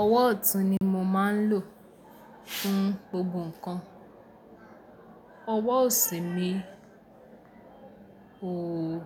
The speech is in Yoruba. Ọwọ́ ọ̀tún ni mo máa ń lò fún gbogbo ǹkan. Ọwọ́ òsì mi o,